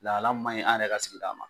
Lahala manɲi an yɛrɛ ka sigida ma